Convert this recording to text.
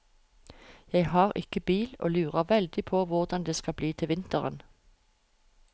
Jeg har ikke bil og lurer veldig på hvordan det skal bli til vinteren.